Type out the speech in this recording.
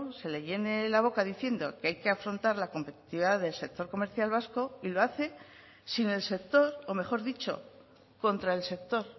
se le llene la boca diciendo que hay que afrontar la competitividad del sector comercial vasco y lo hace sin el sector o mejor dicho contra el sector